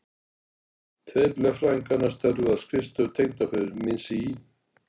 Tveir lögfræðinganna störfuðu á skrifstofu tengdaföður míns í